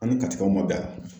An ni katikaw man bɛn a la.